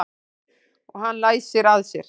Og hann læsir að sér.